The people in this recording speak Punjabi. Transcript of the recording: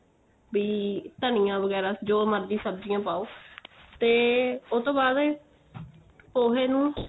ਬੀ ਧਨੀਆਂ ਵਗੈਰਾ ਜੋ ਮਰਜੀ ਸਬਜੀਆਂ ਪਾਉ ਤੇ ਓ ਤੋਂ ਬਾਅਦ ਪੋਹੇ ਨੂੰ